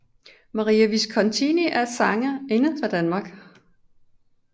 Maria Viskonti er en sangerinde fra Danmark